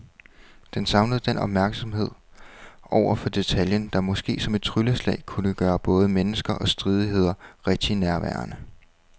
Den savner den opmærksomhed over for detaljen, der måske som et trylleslag kunne gøre både mennesker og stridigheder rigtig nærværende.